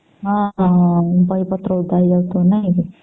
ହଁ ହଁ ବହି ପତ୍ର ଓଦା ହେଇ ଯାଉଥିବା ନାଇଁ କି